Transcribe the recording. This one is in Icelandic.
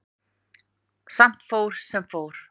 Samt fór sem fór.